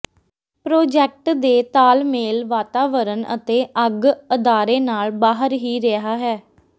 project ਦੇ ਤਾਲਮੇਲ ਵਾਤਾਵਰਣ ਅਤੇ ਅੱਗ ਅਦਾਰੇ ਨਾਲ ਬਾਹਰ ਹੀ ਰਿਹਾ ਹੈ